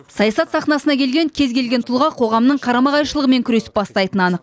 саясат сахнасына келген кез келген тұлға қоғамның қарама қайшылығымен күресіп бастайтыны анық